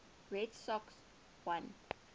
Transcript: red sox won